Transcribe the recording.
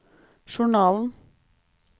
journalen